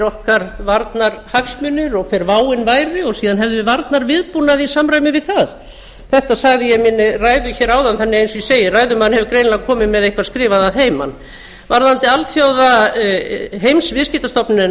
okkar varnarhagsmunir og hver váin væri og síðan hefðum við varnarviðbúnað í samræmi við það þetta sagði ég í minni ræðu hér áðan þannig eins og ég segi ræðumaður hefur greinilega komið með eitthvað skrifað að heiman